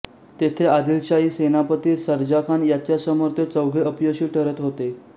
तेथे आदिलशाही सेनापती सर्जाखान याच्यासमोर ते चौघे अपयशी ठरत होते